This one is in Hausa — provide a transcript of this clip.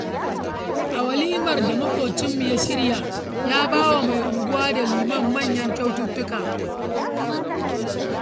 A walimar da maƙwabcinmu ya shirya ya bawa mai unguwa da liman manyan kyaututtuka.